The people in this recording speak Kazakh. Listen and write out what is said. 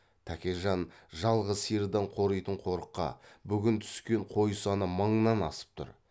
тәкежан жалғыз сиырдан қоритын қорыққа бүгін түскен қой саны мыңнан асып тұр